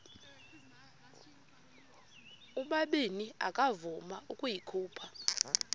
ubabini akavuma ukuyikhupha